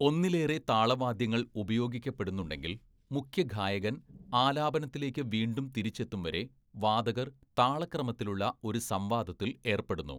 ഒന്നിലേറെ താളവാദ്യങ്ങൾ ഉപയോഗിക്കപ്പെടുന്നുണ്ടെങ്കിൽ, മുഖ്യഗായകൻ ആലാപനത്തിലേക്ക് വീണ്ടും തിരിച്ചെത്തുംവരെ, വാദകർ താളക്രമത്തിലുള്ള ഒരു സംവാദത്തിൽ ഏർപ്പെടുന്നു.